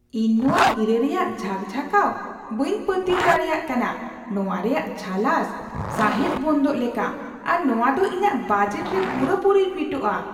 ᱤᱧ ᱱᱚᱶᱟ ᱦᱤᱨᱟᱹ ᱨᱮᱭᱟᱜ ᱡᱷᱟᱠ ᱡᱷᱟᱠᱟᱣ ᱵᱟᱹᱧ ᱯᱟᱹᱛᱭᱟᱹᱣ ᱫᱟᱲᱮᱭᱟᱜ ᱠᱟᱱᱟ ! ᱱᱚᱶᱟ ᱨᱮᱭᱟᱜ ᱡᱷᱟᱞᱟᱥ ᱥᱟᱸᱦᱮᱫᱽ ᱵᱚᱱᱫᱚᱜ ᱞᱮᱠᱟ, ᱟᱨ ᱱᱚᱶᱟ ᱫᱚ ᱤᱧᱟᱜ ᱵᱟᱡᱮᱴ ᱨᱮ ᱯᱩᱨᱟᱹ ᱯᱩᱨᱤᱭ ᱯᱷᱤᱴᱼᱟ ᱾